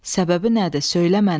Səbəbi nədir, söylə mənə.